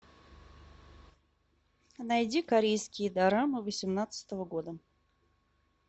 найди корейские дорамы восемнадцатого года